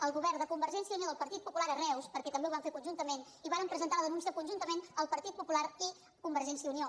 el govern de convergència i unió i del partit popular a reus perquè també ho van fer conjuntament i varen presentar la denúncia conjuntament el partit popular i convergència i unió